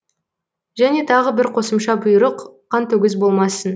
және тағы бір қосымша бұйрық қантөгіс болмасын